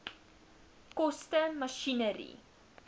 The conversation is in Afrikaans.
koste masjinerie